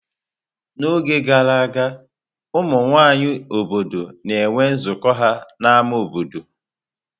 N'oge gara aga, ụmụ nwanyị obodo na-enwe nzukọ ha n'ámá obodo.